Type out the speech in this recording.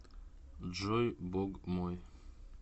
джой бог мой